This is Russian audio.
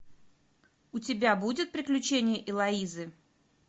у тебя будет приключения элоизы